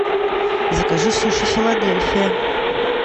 закажи суши филадельфия